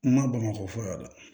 N ma bamakɔ fɔlɔ yɛrɛ